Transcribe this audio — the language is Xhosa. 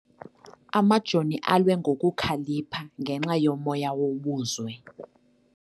Amajoni alwe ngokukhalipha ngenxa yomoya wobuzwe.